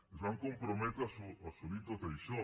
es van comprometre a assolir tot això